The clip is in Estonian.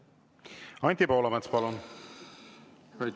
Anti Poolamets, palun!